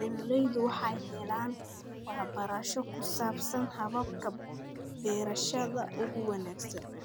Beeraleydu waxay helaan waxbarasho ku saabsan hababka beerashada ugu wanaagsan.